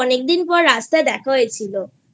অনেকদিন পর রাস্তায় দেখা হয়েছিলI